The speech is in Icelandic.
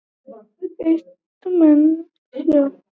Eitt menn sjá